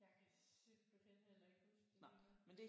Jeg kan simpelthen heller ikke huske det lige nu